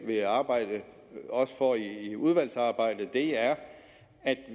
vil arbejde for i udvalgsarbejdet er at